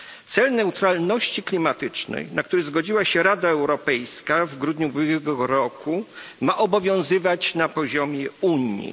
Cel neutralności klimatycznej, na który zgodziła się Rada Europejska w grudniu ubiegłego roku, ma obowiązywać na poziomie Unii.